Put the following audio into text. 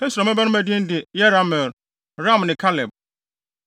Hesron mmabarima din de Yerahmeel, Ram ne Kaleb.